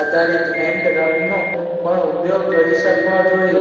આધારિત હેન્ડ રબનો પણ ઉપયોગ કરી શકવા જોઈએ